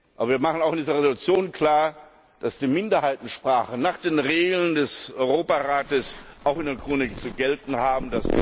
Aber wir machen auch in dieser Entschließung klar, dass die Minderheitensprachen nach den Regeln des Europarats auch in der Ukraine zu gelten haben.